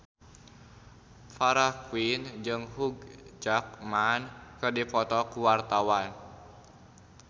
Farah Quinn jeung Hugh Jackman keur dipoto ku wartawan